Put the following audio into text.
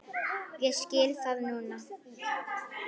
Ég skil það núna.